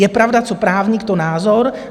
Je pravda, co právník, to názor.